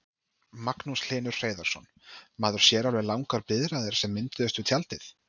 Magnús Hlynur Hreiðarsson: Maður sér alveg langar biðraðir sem mynduðust við tjaldið?